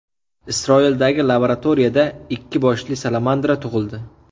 Isroildagi laboratoriyada ikki boshli salamandra tug‘ildi.